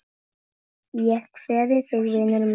Ég kveð þig vinur minn.